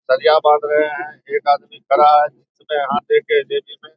सरिया बाँध रहे हैं एक आदमी खड़ा है --